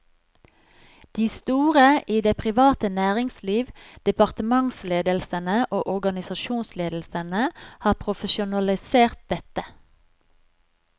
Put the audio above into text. De store i det private næringsliv, departementsledelsene og organisasjonsledelsene har profesjonalisert dette.